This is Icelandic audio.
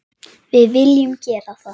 Við viljum gera það.